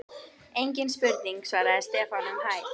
Engin spurning svaraði Stefán um hæl.